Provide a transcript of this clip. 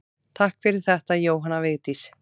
Takk fyrir þetta Jóhanna Vigdís.